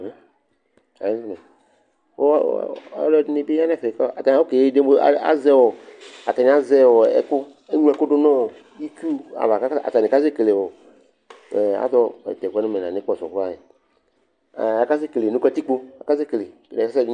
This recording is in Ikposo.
Ɔ ɔ ɔlɔdɩnɩ bɩ ya nʋ ɛfɛ kʋ ata oke dem azɛ ɔ atanɩ azɛ ɔ ɛkʋ Eŋlo ɛkʋ dʋ nʋ itsu ava kʋ atanɩ kasɛkele ɔ azɔ tʋ ɛkʋ yɛ nʋ mɛ la nʋ ɩkpɔsɔ krɔa e a akasekele nʋ katikpo, akasekele ɛsɛ dɩ